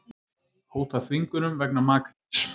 Hóta þvingunum vegna makríls